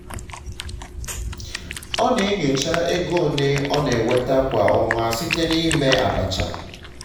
ọ na-enyocha ego ole ọ na-enweta kwa ọnwa site na ime abacha